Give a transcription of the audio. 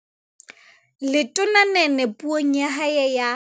Letona Nene Puong ya hae ya